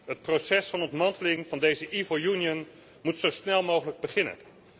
Het proces van ontmanteling van deze evil Union moet zo snel mogelijk beginnen.